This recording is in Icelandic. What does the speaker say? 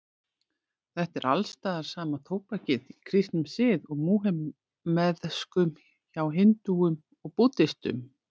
Þetta er alstaðar sama tóbakið, í kristnum sið og múhameðskum, hjá hindúum og búddistum.